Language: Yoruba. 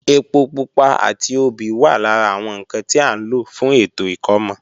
Ẹpo pupa àti obì wà lára àwọn ǹkan tí à ń lò fún ètò ìkómọ